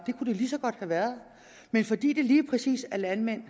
lige så godt have været men fordi det lige præcis er landmænd